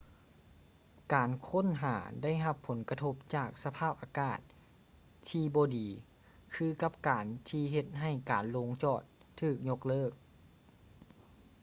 ການຄົ້ນຫາໄດ້ຮັບຜົນກະທົບຈາກສະພາບອາກາດທີ່ບໍ່ດີຄືກັນກັບທີ່ເຮັດໃຫ້ການລົງຈອດຖືກຍົກເລີກ